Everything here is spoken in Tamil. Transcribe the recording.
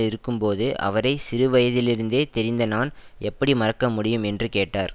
இருக்கும்போது அவரை சிறுவயதிலிருந்தே தெரிந்த நான் எப்படி மறக்க முடியும் என்று கேட்டார்